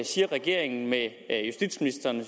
siger regeringen med justitsministeren og